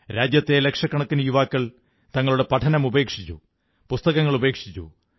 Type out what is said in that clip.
രാജ്യത്തെ ലക്ഷക്കണക്കിന് യുവാക്കൾ തങ്ങളുടെ പഠനമുപേക്ഷിച്ചു പുസ്തകങ്ങളുപേക്ഷിച്ചു